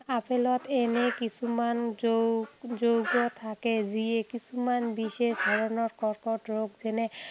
আপেলত এনে কিছুমান যৌগ, যৌগ থাকে যিয়ে কিছুমান বিশেষ ধৰণৰ কৰ্কট ৰোগ যেনে